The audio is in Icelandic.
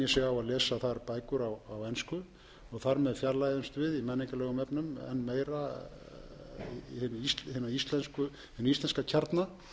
þar bækur á ensku þar með fjarlægjumst við í menningarlegum efnum enn meira hinn íslenska kjarna